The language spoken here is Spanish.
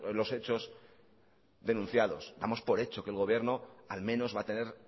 los hechos denunciados damos por hecho que el gobierno al menos va a tener